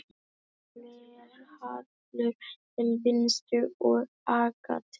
Glerhallur til vinstri og agat til hægri.